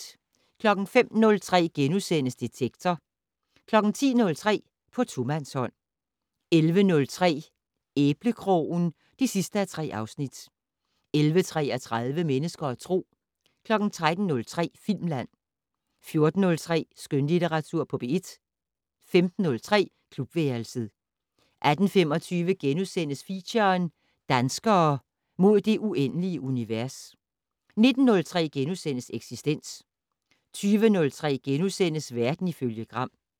05:03: Detektor * 10:03: På tomandshånd 11:03: Æblekrogen (3:3) 11:33: Mennesker og Tro 13:03: Filmland 14:03: Skønlitteratur på P1 15:03: Klubværelset 18:25: Feature: Danskere - mod det uendelige univers * 19:03: Eksistens * 20:03: Verden ifølge Gram *